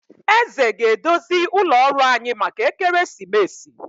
Eze ga- edozi ụlọ ọrụ anyị maka ekeresimesi